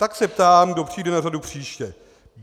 Tak se ptám, kdo přijde na řadu příště?